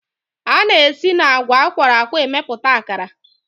A na-esi n'agwa a kwọrọ akwọ emepụta akara